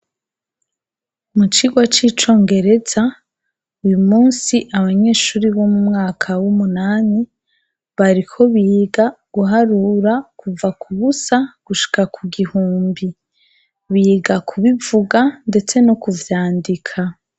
Mu cigwa c'icongereza, uyu munsi abanyeshure bo mu mwaka w'umunani bariko biga guharura, kuva ku busa gushika ku gihumbi. Biga kubivuga ndetse no kuvyandika.